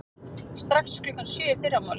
Strax klukkan sjö í fyrramálið.